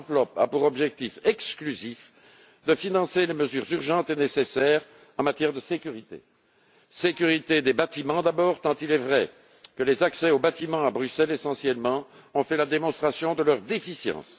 Cette enveloppe a pour objectif exclusif de financer les mesures urgentes et nécessaires en matière de sécurité sécurité des bâtiments d'abord, tant il est vrai que les accès aux bâtiments, à Bruxelles essentiellement, ont fait la démonstration de leur déficience